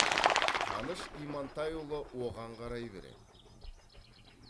қаныш имантайұлы оған қарай береді